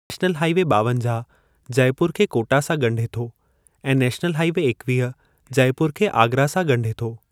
National highway ॿावंजाह जयपुर खे कोटा सां ॻंढे थो ऐं नेशनल हाइ वे एकीह जयपुर खे आगरा सां ॻंढे थो।